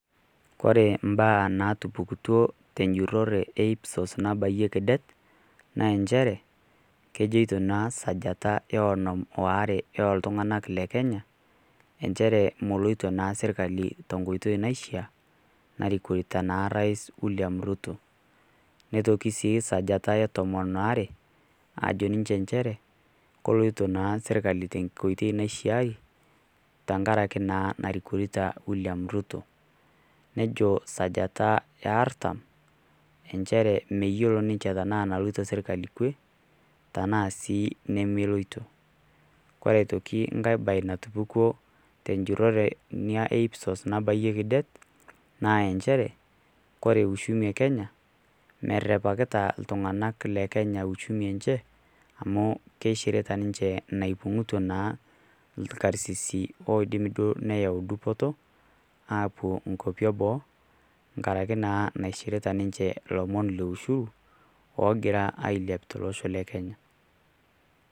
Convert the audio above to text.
kore mbaa natupukutoo te njuroree e ipsos nabayieki det naa enchere kejoito naa sajata e onon waare e ltungana le kenya enchere moloito naa sirkali to nkoitei naishia narikorita naa rais william ruto neitoki sii sajata e tomon aare ajo enchere koloito naaa sirkali te nkoitei naishiari tankarake naa narikorita naa william ruto nejo sajataa ee artam enshere meyolo ninshe tanaa naloito sirkali kwee tanaa sii nemeloito kore otoki nghai bai natupukwaa te njuroree nia e ipsos nabaiyeki det naa enshere kore uchumi e kenya merepakita ltunganak le kenya uchumi enshe amu keishirita ninshe neikunutaa naa lkarsisii oidim duo neyau dupotoo apuo nkopi ee boo ngarake naa naishirita ninshe lomon le ushuru ogiraa ailiap te loshoo le kenya